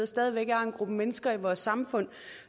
stadig væk har en gruppe mennesker i vores samfund